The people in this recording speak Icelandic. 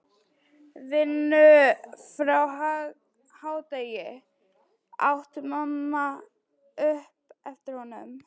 Vinnu fyrir hádegi, át mamma upp eftir honum.